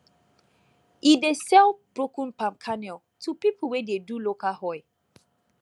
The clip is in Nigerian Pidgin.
e dey sell broken palm kernel to people wey dey do local oil